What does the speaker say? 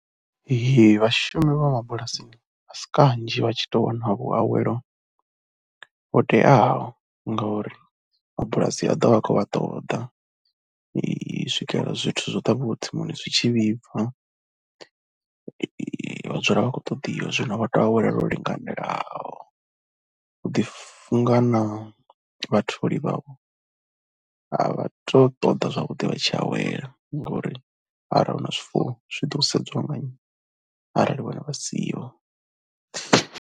Ee vhashumi vha mabulasini a si kanzhi vha tshi tou wana vhuawelo ho teaho ngauri mabulasi a ḓo vha a khou vha ṱoḓa u swikelela zwithu zwo ṱavhiwaho tsimuni zwi tshi vhibva, vha dzula vha khou ṱoḓiwa. Zwino vha tea u awela lwo linganelaho, hu ḓifunga na vhatholi vhavho a vha tou ṱoḓa zwavhuḓi vha tshi awela ngori arali hu na, zwifuwo zwi ḓo sedziwa nga nnyi arali vha siho.